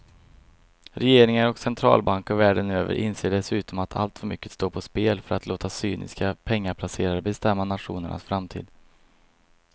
Regeringar och centralbanker världen över inser dessutom att alltför mycket står på spel för att låta cyniska pengaplacerare bestämma nationernas framtid.